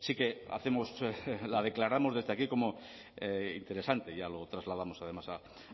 sí que hacemos la declaramos desde aquí como interesante ya lo trasladamos además